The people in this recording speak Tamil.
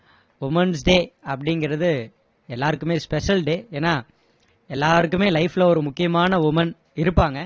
women's day அப்படிங்குறது எல்லாருக்குமே special day ஏன்னா எல்லாருக்குமே life ல ஒரு முக்கியமான women இருப்பாங்க